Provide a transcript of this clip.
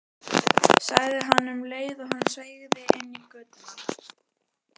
sagði hann um leið og hann sveigði inn í götuna.